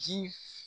Ji